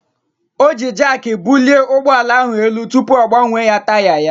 O ji Jaakị bulie ụgbọala ahụ elu tupu ọ gbanwee taya ya.